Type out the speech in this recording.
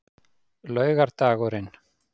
laugardagurinn